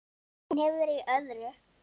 Hún hefur verið í öðru.